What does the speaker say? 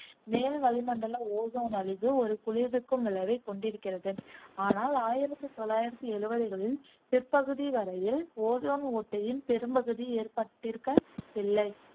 மேல் வளிமண்டல ஓசோன் அழிவு ஒரு குளிர்விக்கும் விளைவைக் கொண்டிருக்கிறது, ஆனால் ஆயிரத்தி தொள்ளாயிரத்தி எழுவதுகளின் பிற்பகுதி வரையில் ஓசோன் ஓட்டையின் பெரும்பகுதி ஏற்பட்டிருக்கவில்லை.